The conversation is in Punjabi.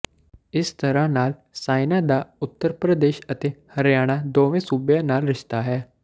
ਇਸ ਤਰ੍ਹਾਂ ਨਾਲ ਸਾਈਨਾ ਦਾ ਉੱਤਰ ਪ੍ਰਦੇਸ਼ ਅਤੇ ਹਰਿਆਣਾ ਦੋਵੇਂ ਸੂਬਿਆਂ ਨਾਲ ਰਿਸ਼ਤਾ ਹੈ